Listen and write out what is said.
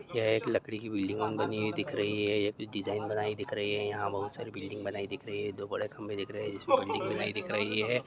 यह एक लकड़ी की बिल्डिंग बनी हुई दिख रही है। ये डिजाइन बनाई हुई दिख रही है। यहा बहुत सारी बिल्डिंग बनाई दिख रही है। जो दो बड़े खंबे दिख रहे है। जिस मे बिल्डिंग बनाई दिख रही है।